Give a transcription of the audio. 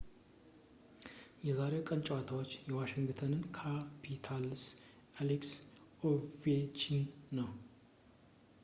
የዛሬው ቀን ተጫዋች የዋሺንግተን ካፒታልስ አሌክስ ኦቬችኪን ነው